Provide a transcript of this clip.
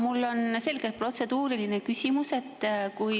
Mul on selgelt protseduuriline küsimus.